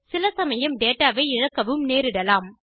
சிலசமயம் டேடாவை இழக்கவும் நேரிடலாம்